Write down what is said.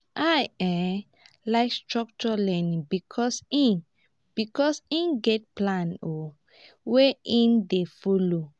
i um like structures learning because e because e get plan wey e dey folo.